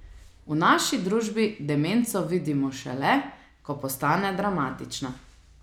V naši družbi demenco vidimo šele, ko postane dramatična.